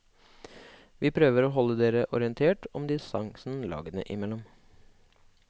Vi prøver å holde dere orientert om distansen lagene imellom.